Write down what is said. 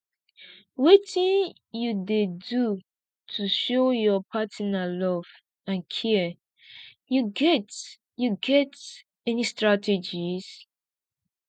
wetin you dey do to show your partner love and care you get you get any strategies